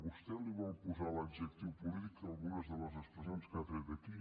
vostè li vol posar l’adjectiu polític a algunes de les expressions que ha tret aquí